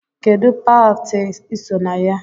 Kedụ pati iso na ya?